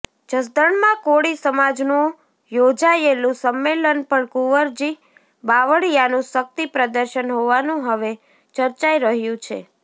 જસદણમાં કોળી સમાજનું યોજાયેલું સંમેલન પણ કુવરજી બાવળિયાનું શક્તિ પ્રદર્શન હોવાનું હવે ચર્ચાઈ રહ્યું છે